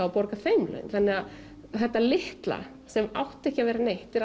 og borga þeim laun þannig að þetta litla sem átti ekki að vera neitt er